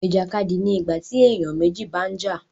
Ìjàkadì ni ìgbà tí èèyàn méjì bá ń jà